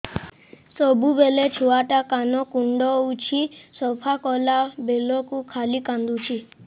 ସବୁବେଳେ ଛୁଆ ଟା କାନ କୁଣ୍ଡଉଚି ସଫା କଲା ବେଳକୁ ଖାଲି କାନ୍ଦୁଚି